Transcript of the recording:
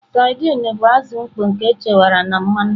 Sardines bụ azụ mkpọ nke echekwara na mmanụ.